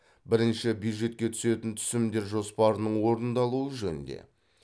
бірінші бюджетке түсетін түсімдер жоспарының орындалуы жөнінде